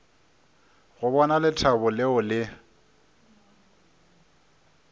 go bona lethabo leo le